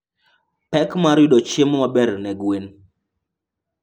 pek mar yudo chiemo maber ne gwen .